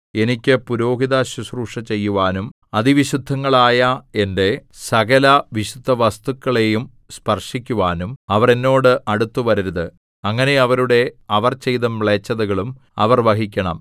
എനിക്ക് പുരോഹിതശുശ്രൂഷ ചെയ്യുവാനും അതിവിശുദ്ധങ്ങളായ എന്റെ സകലവിശുദ്ധവസ്തുക്കളെയും സ്പർശിക്കുവാനും അവർ എന്നോട് അടുത്തുവരരുത് അങ്ങനെ അവരുടെ അവർ ചെയ്ത മ്ലേച്ഛതകളും അവർ വഹിക്കണം